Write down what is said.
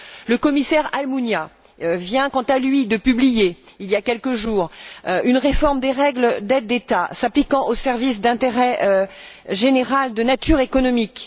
Le commissaire Almunia vient, quant à lui, de publier, il y a quelques jours, une réforme des règles des aides d'État s'appliquant aux services d'intérêt général de nature économique.